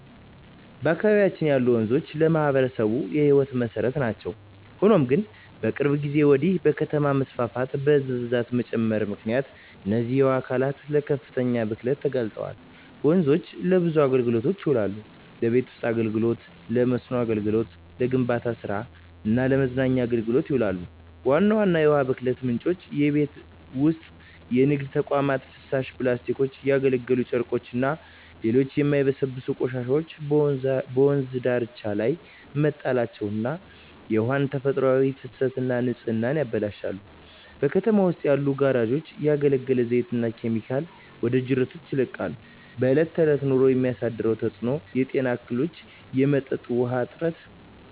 በአካባቢያችን ያሉ ወንዞች ለማኅበረሰቡ የሕይወት መሠረት ናቸው። ሆኖም ግን፣ ከቅርብ ጊዜ ወዲህ በከተማ መስፋፋትና በሕዝብ ብዛት መጨመር ምክንያት እነዚህ የውሃ አካላት ለከፍተኛ ብክለት ተጋልጠዋል። ወንዞች ለብዙ አገልግሎቶች ይውላሉ። ለቤት ውስጥ አገልግሎ፣ ለመስኖ አገልግሎት፣ ለግንባታ ስራ እና ለመዝናኛ አገልግሎቶች ይውላሉ። ዋና ዋና የውሃ ብክለት ምንጮች:- የቤት ውስጥና የንግድ ተቋማት ፍሳሽ፣ ፕላስቲኮች፣ ያገለገሉ ጨርቆችና ሌሎች የማይበሰብሱ ቆሻሻዎች በወንዝ ዳርቻዎች ላይ መጣላቸው የውሃውን ተፈጥሯዊ ፍሰትና ንጽህና ያበላሻሉ። በከተማው ውስጥ ያሉ ጋራዦች ያገለገለ ዘይትና ኬሚካሎችን ወደ ጅረቶች ይለቃሉ። በእለት በእለት ኑሮ የሚያሳድረው ተጽኖ:- የጤና እክሎች፣ የመጠጥ ውሀ እጥረት…